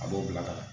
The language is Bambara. A b'o bila ka na